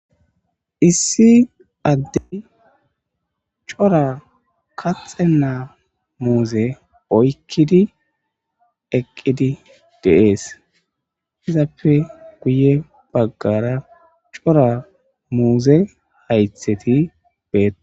issi addey cora kaxenaa muuze oykkidi eqqidi de'es izappe guye baggara cora muuze haytheti beetosona